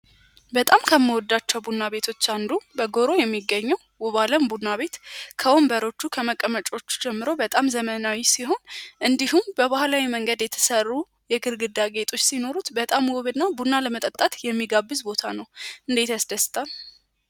በጣም ከምወዳቸው ቡና ቤቶች አንዱ በጎሮ የሚገኙ ውባለም ቡና ቤት ከወንበሮቹ ከመቀመጪ ጀምሮ በጣም ዘመናዊ ሲሆን በባህላዊ መንገድ የተሰሩ የግርግዳጌጦች ሲኖሩት በጣም ቡና ለመጠጣት የሚጋብዝ ቦታ ነው። እንዴት ያስደስታል!